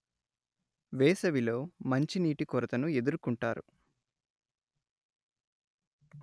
వేసవిలో మంచినీటి కోరతను ఎదుర్కుంటారు